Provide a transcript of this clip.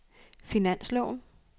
finansloven